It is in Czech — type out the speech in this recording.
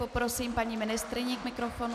Poprosím paní ministryni k mikrofonu.